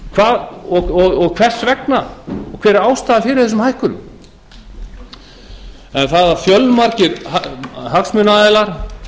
hvers vegna og hver er ástæðan fyrir þessum hækkunum en það að fjölmargir